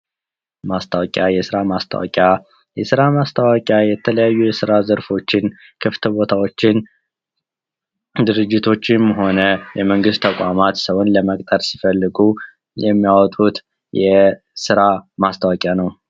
ማስታወቂያ የስራ ማስታወቂያ የተለያዩ የስራ ዘርፎችን ክፍት ቦታዎችን ድርጅቶችም ሆነ የመንግስት ተቋማት ሰውን ለመቅጠር ሲፈልጉ የሚያወጡት የስራ ማስታወቂያ ነው ።